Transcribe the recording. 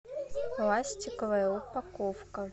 пластиковая упаковка